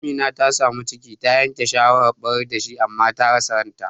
Amina ta samu ciki, ta yanke shawarar ɓarar dashi, amma ta rasa ranta.